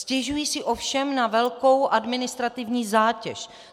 Stěžují si ovšem na velkou administrativní zátěž.